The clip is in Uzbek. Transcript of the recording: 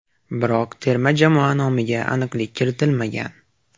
Biroq terma jamoa nomiga aniqlik kiritmagan.